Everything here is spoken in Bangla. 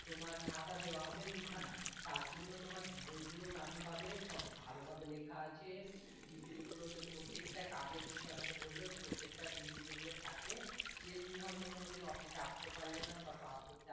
তোমার খাতা দেওয়া হবে দু খানা তার জন্য তোমার বই গুলো ও দামি পাবে সব ভালো ভাবে লেখা আছে DVD গুলো তে আমাকে প্রত্যেক টা কাজের বিষয়ে আমাকে বললো যে প্রত্যেক টা DVD যেগুলো থাকবে যে তুমি হয়তো কোনো দিন office এ আসতে পারলে না বা class করতে